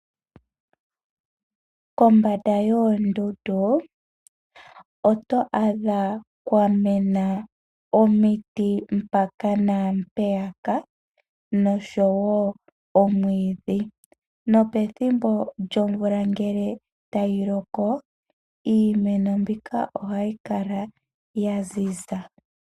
Kombanda yoondundu oto adha kwamena omiti mpaka naampeya ka nosho wo omwiidhi. Nopethimbo lyomvula iimeno mbika ohayi kala yaziza.